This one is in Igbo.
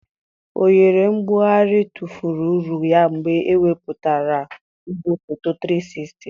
oghere mbugharị tụfuru uru ya mgbe ewepụtara igwefoto 360.